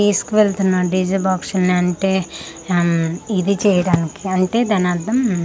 తీసుకువెళ్తున్న DJ box అని అంటే హమ్ ఇది చేయడానికి అంటే దానర్థం--